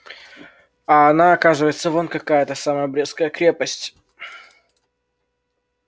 а она оказывается вон какая эта самая брестская крепость